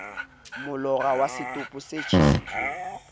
molora wa setopo se tjhesitsweng